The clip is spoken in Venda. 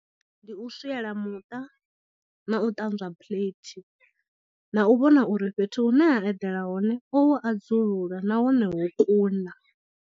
Ndi u swiela muṱa na u ṱanzwa phuleithi na u vhona uri fhethu hu ne a eḓela hone o hu adzula nahone ho kuna.